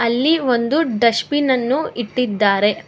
ಇಲ್ಲಿ ಒಂದು ಡಸ್ಟಬಿನ್ ಅನ್ನು ಇಟ್ಟಿದ್ದಾರೆ.